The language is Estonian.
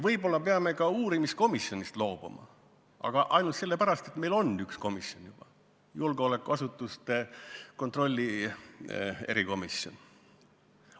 Võib-olla me peame ka uurimiskomisjonist loobuma, aga ainult sellepärast, et meil on üks erikomisjon juba – julgeolekuasutuste järelevalve erikomisjon.